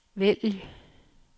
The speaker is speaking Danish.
vælg